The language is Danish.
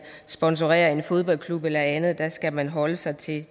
sponsorerer en fodboldklub eller andet der skal man holde sig til